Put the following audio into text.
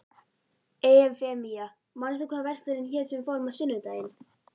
Eufemía, manstu hvað verslunin hét sem við fórum í á sunnudaginn?